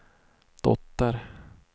dotter